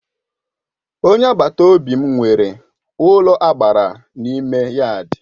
Onye agbata obi m nwere ụlọagbara n'ime yaadi.